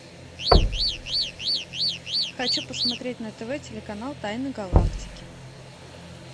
хочу посмотреть на тв телеканал тайны галактики